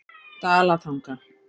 Dalatanga